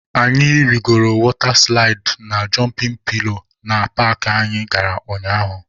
Anyị rigoro wọta silaịdị na jọmpịn pilo na paakị anyị gara ụnyaahụ.